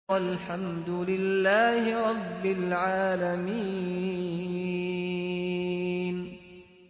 وَالْحَمْدُ لِلَّهِ رَبِّ الْعَالَمِينَ